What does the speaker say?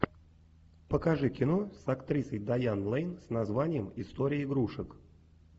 покажи кино с актрисой дайан лэйн с названием история игрушек